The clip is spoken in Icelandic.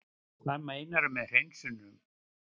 Hvað meinarðu með hreinsunum?